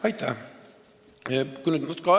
Aitäh!